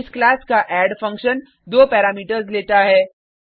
इस क्लास का add function दो पैरामीटर्स लेता है